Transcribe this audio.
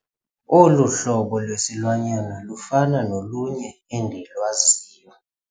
Olu hlobo lwesilwanyana lufana nolunye endilwaziyo.